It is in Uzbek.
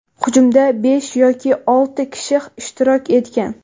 Hujumda besh yoki olti kishi ishtirok etgan.